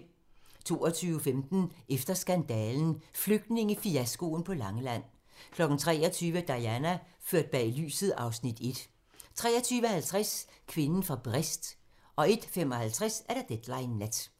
22:15: Efter skandalen - Flygtningefiaskoen på Langeland 23:00: Diana - ført bag lyset (Afs. 1) 23:50: Kvinden fra Brest 01:55: Deadline Nat